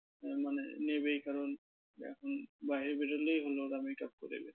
মানে নেবেই কারণ এখন বাহিরে বেরোলেই ওরা করে বেরোয়।